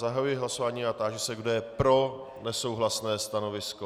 Zahajuji hlasování a táži se, kdo je pro nesouhlasné stanovisko.